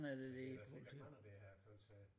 Men det da sikkert ham der vil have føretaget